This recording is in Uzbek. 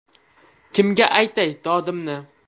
Kimga aytay dodimni?